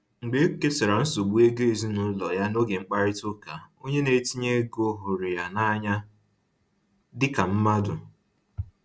Mgbe o kesara nsogbu ego ezinụlọ ya n'oge mkparịta ụka, onye ntinye ego hụrụ ya n’anya dịka mmadụ.